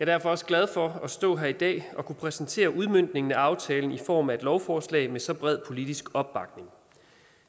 derfor også glad for at kunne stå her i dag og præsentere udmøntningen af aftalen i form af et lovforslag med så bred politisk opbakning